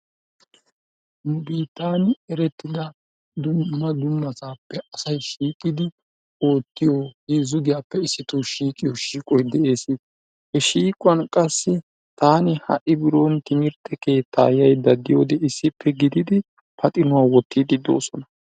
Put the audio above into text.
Nu biittaani erettida dumma dummasaappe asay shiiqidi oottiyo heezzu giyaappe issito shiiqiyo shiiqoy de"eesi. He shiiquwan qassi taani ha"i biron timirte keettaa yayidda diyoode issippe gididi paximuwa wottiiddi doosona.